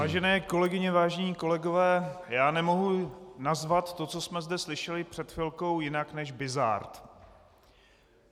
Vážené kolegyně, vážení kolegové, já nemohu nazvat to, co jsme zde slyšeli před chvilkou, jinak než bizard.